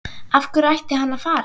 Af hverju ætti hann að fara?